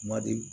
Kuma di